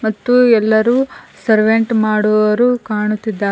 ಮತ್ತು ಎಲ್ಲರು ಸರ್ವೆಂಟ ಮಾಡುವವರು ಕಾಣುತ್ತಿದ್ದಾ--